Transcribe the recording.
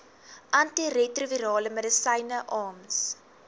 antiretrovirale medisyne arms